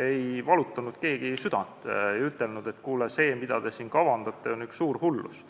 ei valutanud keegi südant, keegi ei ütelnud, et kuule, see, mida te siin kavandate, on üks suur hullus.